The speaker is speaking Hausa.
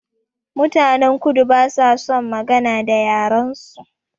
Mutanen kudu ba sa son magana da yaren su